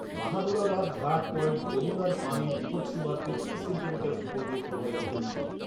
বাহাদুরাবাদ ঘাট পয়েন্টে যমুনার পানি বিপৎসীমার তেত্রিশ সেন্টিমিটার উপর দিয়ে প্রবাহিত হচ্ছে